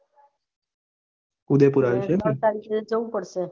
ઉદેપુર આયા છે